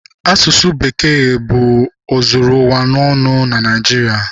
Asụsụ Bekee bụ ozuru ụwa ọnụ na Naịjirịa.